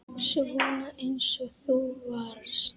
Svona eins og þú varst.